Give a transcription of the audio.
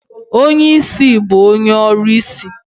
Onye ìsì bụ onye ọrụsị.